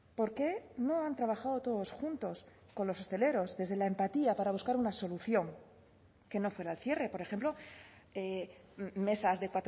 por qué no han trabajado todos juntos con los hosteleros desde la empatía para buscar una solución que no fuera el cierre por ejemplo mesas de